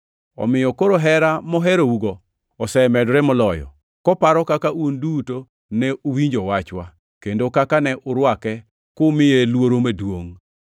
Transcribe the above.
Omiyo koro hera moherougo osemedore moloyo, koparo kaka un duto ne uwinjo wachwa, kendo kaka ne urwake kumiye luoro maduongʼ.